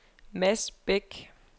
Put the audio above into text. Mads Beck